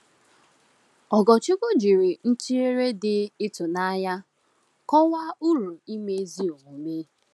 Ogorchukwu jiri ntụnyere dị ịtụnanya kọwaa uru ime ezi omume.